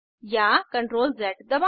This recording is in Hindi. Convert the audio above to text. टूलबॉक्स से इरेजर टूल सेलेक्ट करें